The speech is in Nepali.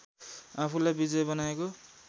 आफूलाई विजय बनाएको